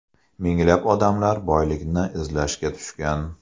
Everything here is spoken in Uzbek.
Minglab odamlar boylikni izlashga tushgan.